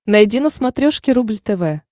найди на смотрешке рубль тв